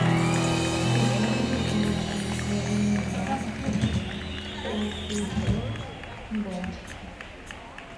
купи мне пожалуйста макароны макфа полкило бантики